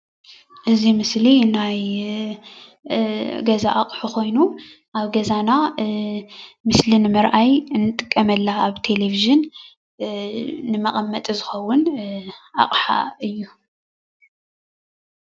እዚ ምስሊ ናይ ገዛ ኣቕሑ ኮይኑ ኣብ ገዛና ምስሊ ንምርኣይ ንጥቀመላ ኣብ ቴሌቭዥን ንመቐመጢ ዝኸዉን ኣቅሓ እዩ።